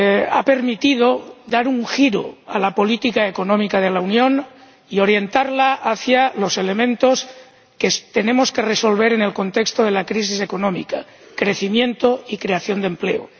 ha permitido dar un giro a la política económica de la Unión y orientarla hacia los elementos que tenemos que resolver en el contexto de la crisis económica crecimiento y creación de empleo.